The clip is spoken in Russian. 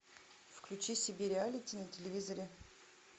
включи си би реалити на телевизоре